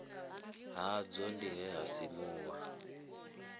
hadzo ndi he ha simuwa